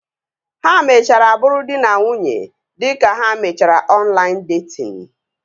Ha mechara bụrụ dị na nwunye dịka ha mechara ọnlaịn detin